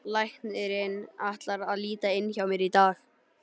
Læknirinn ætlar að líta inn hjá mér í dag.